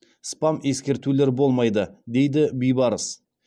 спам ескертулер болмайды дейді бибарыс